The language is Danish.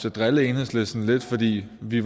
at drille enhedslisten lidt fordi vi